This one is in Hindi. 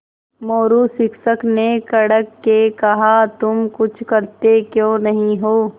मोरू शिक्षक ने कड़क के कहा तुम कुछ करते क्यों नहीं हो